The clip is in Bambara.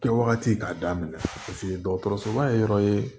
Kɛwagati k'a daminɛ dɔgɔtɔrɔsoba ye yɔrɔ ye